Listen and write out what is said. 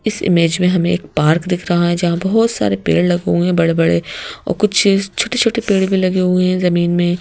इस इमेज़ में हमें एक पार्क दिख रहा है जहां बहोत सारे पेड़ लगे हुए है बड़े-बड़े और कुछ छोटे-छोटे पेड़ भी लगे हुए है जमीन में --